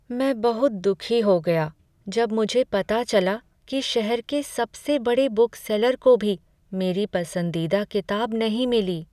मैं बहुत दुखी हो गया जब मुझे पता चला कि शहर के सबसे बड़े बुक सेलर को भी मेरी पसंदीदा किताब नहीं मिली।